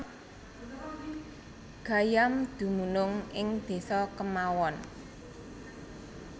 Gayam dumunung ing desa kemawon